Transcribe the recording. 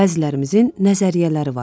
Bəzilərimizin nəzəriyyələri var idi.